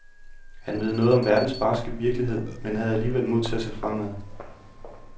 Han ved noget om verdens barske virkelighed men havde alligevel mod til at se fremad.